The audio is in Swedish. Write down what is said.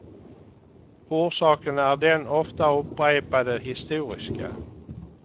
Orsaken är den ofta upprepade historiska.